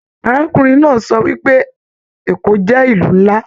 Arákùnrin náà sọ wípé Èkó jẹ ìlú nlá.